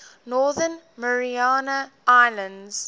northern mariana islands